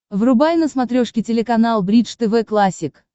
врубай на смотрешке телеканал бридж тв классик